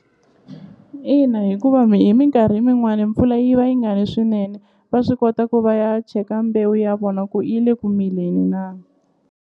Ina hikuva hi minkarhi min'wani mpfula yi va yi nga ni swinene va swi kota ku va ya cheka mbewu ya vona ku yi le ku mileni na.